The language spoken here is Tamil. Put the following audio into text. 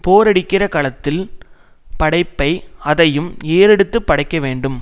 போரடிக்கிற களத்தின் படைப்பை அதையும் ஏறெடுத்து படைக்கவேண்டும்